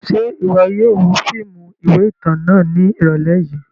Ṣe iwọ yóò wo fiimu iwe itan náa ni irọlẹ yii?